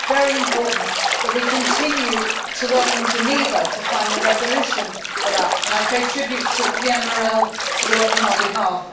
It is very important that we continue to work in Geneva to find a resolution on this and I pay tribute to Pierre Morel for the work on our behalf.